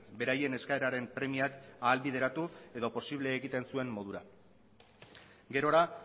beraien eskaeraren premiak ahalbideratu edo posible egiten zuen modura gerora